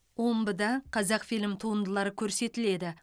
омбыда қазақфильм туындылары көрсетіледі